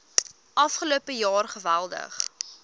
afgelope jaar geweldig